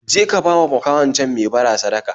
Je ka bawa makahon can mai bara sadaka